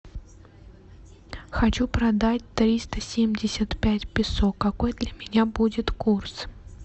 хочу продать триста семьдесят пять песо какой для меня будет курс